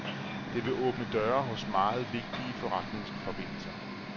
Det vil åbne døre hos meget vigtige forretningsforbindelser.